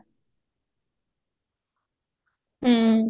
ହଁ